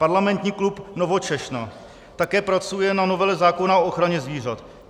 Parlamentní klub Nowoczesna také pracuje na novele zákona o ochraně zvířat.